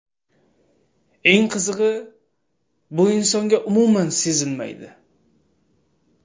Eng qizig‘i, bu insonga umuman sezilmaydi.